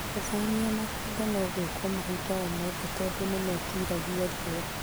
Gũthamia makongo nogwĩkwo mahinda omothe tando nĩmetiragia riũa.